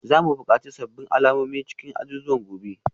Za mu buƙaci sabbin alamomi a cikin azuzuwan gobe